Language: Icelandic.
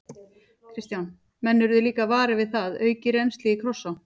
Kristján: Menn urðu líka varir við það, aukið rennsli í Krossá?